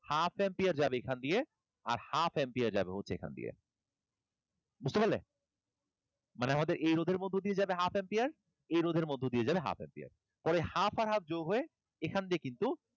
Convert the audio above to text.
half ampere যাবে এখান দিয়ে আর half ampere যাবে হচ্ছে এখান দিয়ে। বুঝতে পারলে? মানে আমাদের এই রোধের মধ্য দিয়ে যাবে half ampere, এই রোধের মধ্য দিয়ে যাবে half ampere, পরে half আর half যোগ হয়ে এখন দিয়ে কিন্তু,